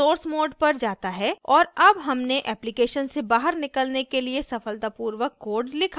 यह source mode पर जाता है और अब हमने application से बाहर निकलने के लिए सफलतापूर्वक code लिखा है